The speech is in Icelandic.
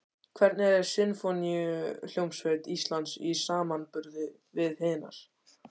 Hvernig er Sinfóníuhljómsveit Íslands í samanburði við hinar?